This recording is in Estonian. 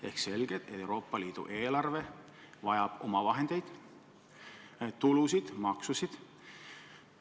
Ehk selge see, et Euroopa Liidu eelarve vajab omavahendeid, tulusid ja maksusid.